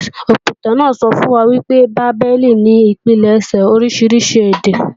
Òpìtàn náà sọ fún wa pé Bábélì ni ìpilẹ̀ṣẹ̀ oríṣiríṣi èdè